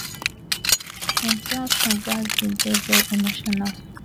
im proud son gas bin dey veri emotional